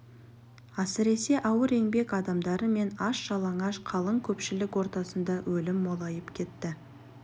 әсіресе ауыр еңбек адамдары мен аш-жалаңаш қалың көпшілік ортасында өлім молайып кетті